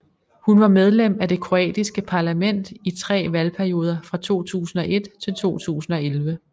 Hun var medlem af det kroatiske parlament i tre valgperioder fra 2001 til 2011